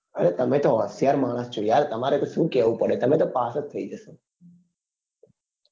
અરે તમે તો હોસીરાય માણસ છો યાર તમારે તો શું કેવું પડે તમે તો પાસ જ થઇ જાસો